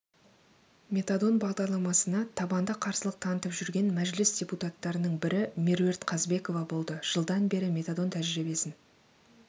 метадон бағдарламасына табанды қарсылық танытып жүрген мәжіліс депутаттарының бірі меруерт қазбекова болды жылдан бері метадон тәжірибесін